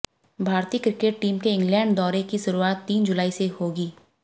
भारतीय cricket team के England दौरे की शुरुआत तीन जुलाई से होगी